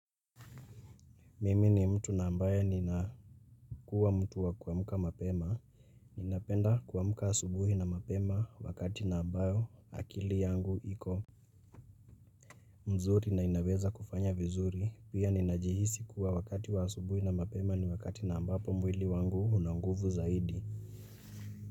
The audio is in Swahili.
Mimi ni mtu na ambaye ni na kuwa mtu wa kuamka mapema. Ninapenda kuamka asubuhi na mapema wakati na ambayo akili yangu iko. Mzuri na inaweza kufanya vizuri. Pia ninajihisi kuwa wakati wa asubuhi na mapema ni wakati na ambapo mwili wangu una nguvu zaidi.